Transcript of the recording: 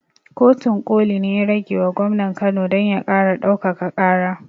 Kotun ƙoli ne ya ragewa gwamnan kano don ya ƙara ɗaukaka ƙara